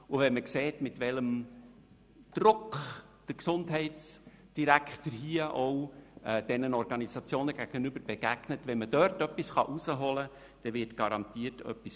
Wenn man sieht, mit welchem Druck der Gesundheitsdirektor den Organisationen begegnet, wird garantiert etwas herausgeholt, wenn es möglich ist.